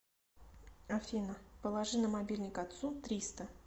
афина положи на мобильник отцу триста